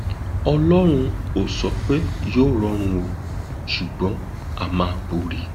ọlọrun ò sọ pé yóò rọrùn o ṣùgbọn á máa borí